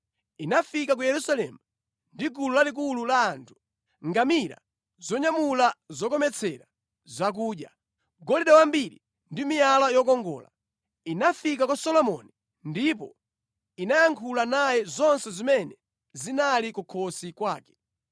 Inafika mu Yerusalemu ndi gulu lalikulu la ngamira zonyamula zokometsera zakudya, golide wambiri ndi miyala yokongola. Inafika kwa Solomoni ndipo inayankhula naye zonse zimene zinali mu mtima mwake.